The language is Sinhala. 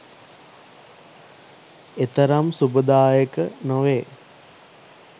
එතරම් සුබදායක නොවේ